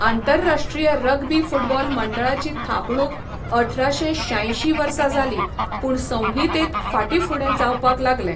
आंतरराश्ट्रीय rugby football मंडळाची थापणूक अठराशे शांयशीं वर्सा जाली, पूण संहितेंत फाटींफुडें जावपाक लागलें.